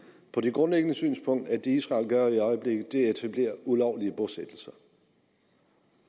har det grundlæggende synspunkt at det israel gør i øjeblikket er at etablere ulovlige bosættelser